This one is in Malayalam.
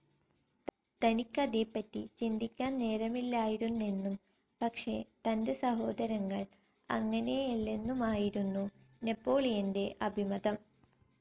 തനിക്കതേപ്പറ്റി ചിന്തിക്കാൻ നേരമില്ലായിരുന്നെന്നും പക്ഷേ തന്റെ സഹോദരങ്ങൾ അങ്ങനെയല്ലെന്നുമായിരുന്നു നെപോളിയൻറെ അഭിമതം.